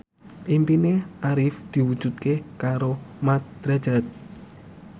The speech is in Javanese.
impine Arif diwujudke karo Mat Drajat